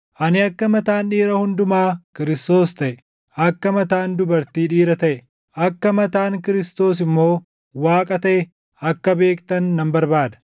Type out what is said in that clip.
Ani akka mataan dhiira hundumaa Kiristoos taʼe, akka mataan dubartii dhiira taʼe, akka mataan Kiristoos immoo Waaqa taʼe akka beektan nan barbaada.